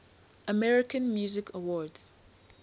american music awards